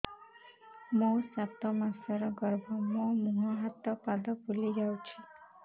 ମୋ ସାତ ମାସର ଗର୍ଭ ମୋ ମୁହଁ ହାତ ପାଦ ଫୁଲି ଯାଉଛି